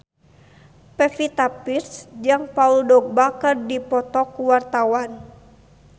Pevita Pearce jeung Paul Dogba keur dipoto ku wartawan